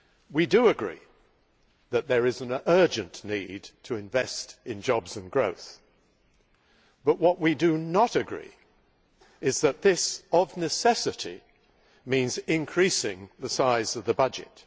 We do agree that there is an urgent need to invest in jobs and growth, but what we do not agree with is that this, of necessity, means increasing the size of the budget.